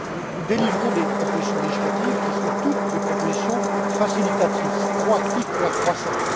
Nous présentons des propositions législatives qui sont toutes des propositions facilitatrices, proactives pour la croissance.